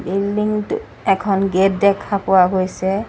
Building টোত এখন gate দেখা পোৱা গৈছে।